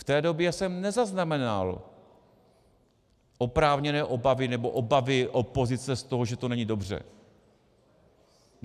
V té době jsem nezaznamenal oprávněné obavy, nebo obavy opozice z toho, že to není dobře.